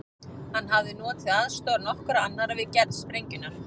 Hann hafði notið aðstoðar nokkurra annarra við gerð sprengjunnar.